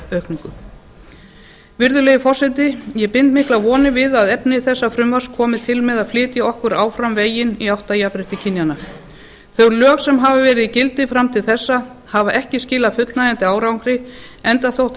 útgjaldaaukningu virðulegi forseti ég bind miklar vonir við að efni þessa frumvarps komi til með að flytja okkur áfram veginn í átt að jafnrétti kynjanna þau lög sem hafa verið í gildi fram til þessa hafa ekki skilað fullnægjandi árangri enda þótt